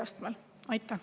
Aitäh!